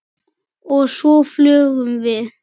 Og svo flugum við.